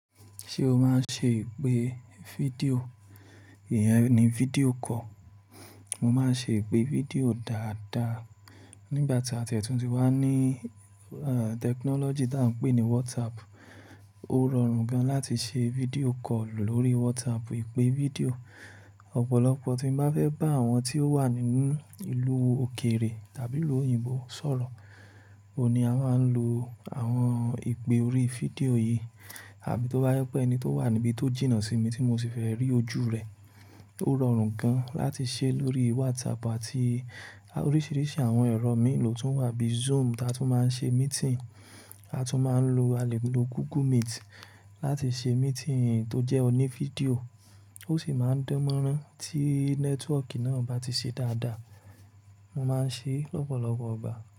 Ṣé o máa ń ṣe ìpè fídíò? Ìyẹn ni fídíò call. Mo máa ń ṣe ìpè fídíò dáadáa. Nígbà tí àtiẹ̀tùn ti wá ní, ehn, tẹkinọ́lọ́jì tí a ń pè ní WhatsApp, ó rọrùn gan láti ṣe fídíò call lórí WhatsApp, ìpè fídíò. Ọ̀pọ̀lọpọ̀ tí mo bá fẹ́ bá àwọn tí ó wà nínú ìlú òkèrè tàbí ìlú òyìnbó sọ̀rọ̀, òun ni a máa ń lo àwọn ìpè orí fídíò yìí. Àbí tó bá yẹ pé ẹni tó wà níbi tó jìnnà sí mi tí mo sì fẹ́ rí ojú rẹ̀, ó rọrùn gan láti ṣe lórí WhatsApp àti oríṣìíríṣìí àwọn ẹ̀rọ mílò tó wà bíi Zoom tí a tún máa ń ṣe meeting, a tún máa ń lo, a lè lo Google Meet láti ṣe meeting tó jẹ́ oní fídíò. Ó sì máa ń dánmọ́rán tí nẹ́tíwọ́kì náà bá ti ṣe dáadáa. Mo máa ń ṣe é lọ́pọ̀lọpọ̀ ìgbà.